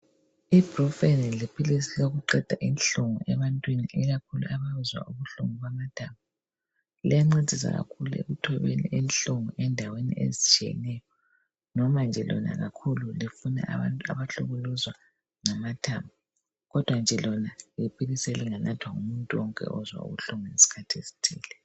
Ibrufen liphilisi lokuqeda inhlungu ebantwini ikakhulu abezwa ubuhlungu bamathambo. Liyancedisa kakhulu ekuthobeni inhlungu endaweni ezitshiyeneyo nomanje kakhulu lifuna abantu abahlukuluzwa ngamathambo. Kodwa nje lona liphilisi elinganathwa ngumuntu wonke ozwa ubuhlungu ngesikhathi esithile.